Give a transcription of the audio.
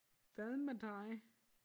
Hvad med dig?